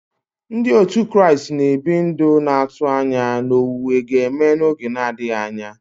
Ndị òtù Kraịst na-ebi ndụ na-atụ anya na owuwe ga-eme n'oge adịghị anya.